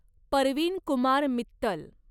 Parveen Kumar Mittal